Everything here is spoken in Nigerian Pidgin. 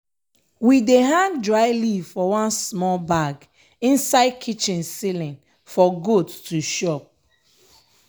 we dey hang dry leaf for one smol bag inside kitchen ceiling for goat to chop.